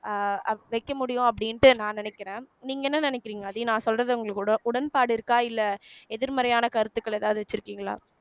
அஹ் வைக்க முடியும் அப்படின்ட்டு நான் நினைக்கிறேன் நீங்க என்ன நினைக்கிறீங்க ஆதி நான் சொல்றதே உங்களுக்கு உட உடன்பாடு இருக்கா இல்ல எதிர்மறையான கருத்துக்கள் எதாவது வச்சிருக்கீங்களா